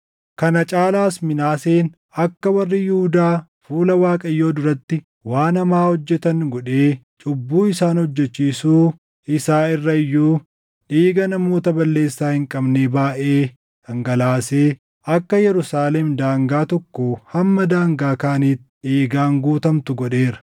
Kana caalaas Minaaseen akka warri Yihuudaa fuula Waaqayyoo duratti waan hamaa hojjetan godhee cubbuu isaan hojjechiisuu isaa irra iyyuu dhiiga namoota balleessaa hin qabnee baayʼee dhangalaasee akka Yerusaalem daangaa tokkoo hamma daangaa kaaniitti dhiigaan guutamtu godheera.